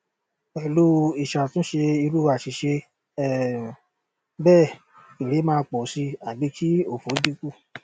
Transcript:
pelu isatunse iru asise um bee ere maa po si abi ki ofo dinku